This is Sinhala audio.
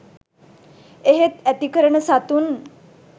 එහෙත් ඇති කරන සතුන්